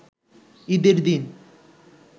ঈদের দিন